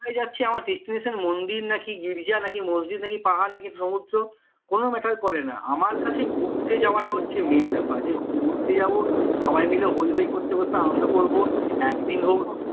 কোথায় যাচ্ছি আমার destination মন্দির নাকি গির্জা নাকি মসজিদ নাকি পাহাড় না কি সমুদ্র কোনো matter করে না আমার কাছে ঘুরতে যাওয়াটাই হচ্ছে মেন বেপার যে ঘুরতে যাব সবাই মিলে হৈহৈ করতে করতে আনন্দ করবো একদিন হোক